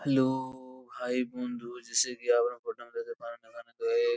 hello hi বন্ধু |